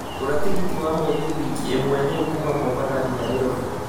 gũra tigiti wa mũgithi wiki ĩmwe rĩũ kuuma mombatha nginya nairobi